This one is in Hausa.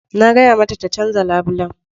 Na gaya mata ta canza labulen